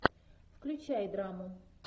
включай драму